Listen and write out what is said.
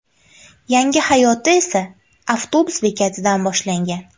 Yangi hayoti esa avtobus bekatidan boshlangan.